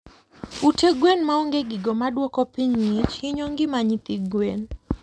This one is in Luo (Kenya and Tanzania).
Ute gwen maonge gigo maduoko piny ngich hinyo ngima nyithi gwen